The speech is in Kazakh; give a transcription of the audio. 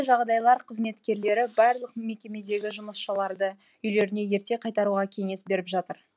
жағдайлар қызметкерлері барлық мекемедегі жұмысшыларды үйлеріне ерте қайтаруға кеңес беріп жатыр